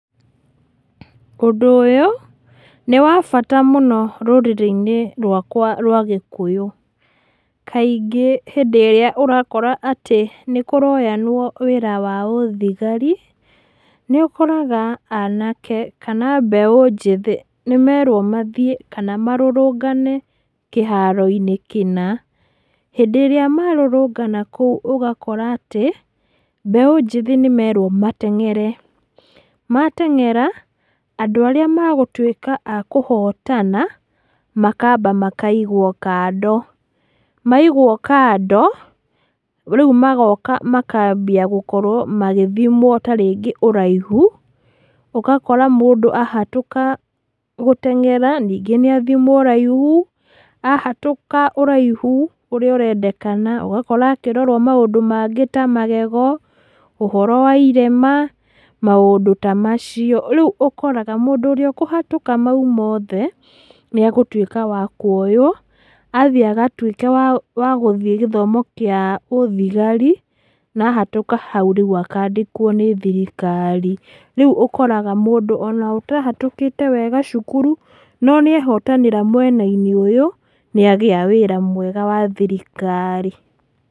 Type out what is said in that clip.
Ũndũ ũyũ, nĩ wa bata mũno rũrĩrĩ-inĩ rwakwa rwa gĩkũyũ, kaingĩ hĩndĩ ĩrĩa ũrakora atĩ nĩkũroyanwo wĩra wa ũthigari, nĩũkoraga anake, kana mbeũ njĩthĩ nĩmerwo mathiĩ kana marũrũngane kĩharo-inĩ kĩna, hĩndĩ ĩrĩa marũrũngana kũu ũgakora atĩ, mbeũ njĩthĩ nĩmerwo mateng'ere, mateng'era, andũ arĩa magũtwĩka a kũhotana, makaba makaigwo mando, maigwo kando, rĩu magoka makambia gũkorwo magĩthimwo ta rĩngĩ ũraihu, ũgakora mũndũ ahatũka gũteng'era, ningĩ nĩathimwo ũraihu, ahatũka ũraihu ũrĩa ũrendekana ũgakora akĩrorwo maũndũ mangĩ ta magego, ũhoro wa irema, maũndũ ta macio, rĩu ũkoraga mũndũ ũrĩa ũkũhatũka mau mothe, nĩagũtwĩka wa kuoywo, athiĩ agatwĩke wa gũthiĩ gĩthomo kĩa ũthigari, na ahatũka hau rĩu akandĩkwo nĩ thirikari, rĩu, ũkoraga mũndũ ona ũtahatũkĩte wega cukuru, no nĩehotanĩra mwena-inĩ ũyũ, nĩagĩa wĩra mwega wa thirikari.